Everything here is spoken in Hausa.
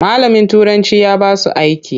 Malamin turanci ya basu aiki.